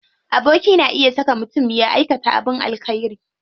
Aboki na iya saka mutum ya aikata abin alkhairi.